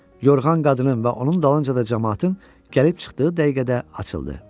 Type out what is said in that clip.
Yorğan qadının və onun dalınca da camaatın gəlib çıxdığı dəqiqədə açıldı.